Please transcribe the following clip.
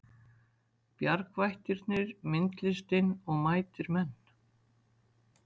Bjargvættirnir myndlistin og mætir menn